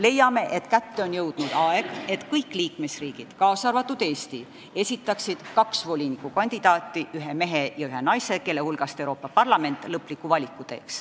Leiame, et kätte on jõudnud aeg, et kõik liikmesriigid, kaasa arvatud Eesti, esitaksid kaks volinikukandidaati, ühe mehe ja ühe naise, kelle hulgast Euroopa Parlament teeb lõpliku valiku.